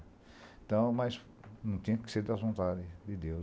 Então, mas não tinha que ser da vontade de Deus.